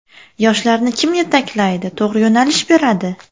Yoshlarni kim yetaklaydi, to‘g‘ri yo‘nalish beradi?